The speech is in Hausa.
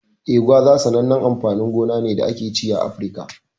Eh, gwaza sanannen amfanin gona ne da ake ci a Afirka.